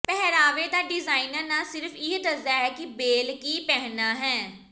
ਪਹਿਰਾਵੇ ਦਾ ਡਿਜ਼ਾਇਨਰ ਨਾ ਸਿਰਫ ਇਹ ਦੱਸਦਾ ਹੈ ਕਿ ਬੇਲ ਕੀ ਪਹਿਨਣਾ ਹੈ